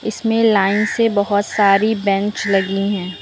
इसमें लाइन से बहुत सारी बेंच लगी हैं।